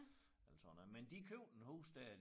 Eller sådan noget men de købte en hus dér